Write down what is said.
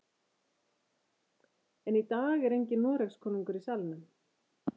En í dag er enginn Noregskonungur í salnum.